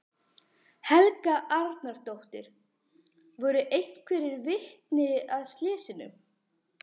Helga Arnardóttir: Voru einhver vitni að slysinu?